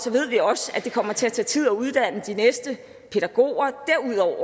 ved vi også at det kommer til at tage tid at uddanne de næste pædagoger